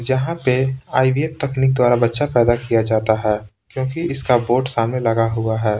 यहाँ पे आईवीएफ तकनीक द्वारा बच्चा पैदा किया जाता है क्योंकि इसका बोर्ड सामने लगा हुआ है।